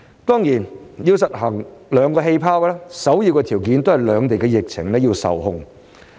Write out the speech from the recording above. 當然，要實行上述兩個"氣泡"，首要條件也是兩地疫情受控。